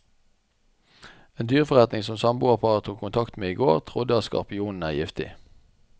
En dyreforretning som samboerparet tok kontakt med i går, trodde at skorpionen er giftig.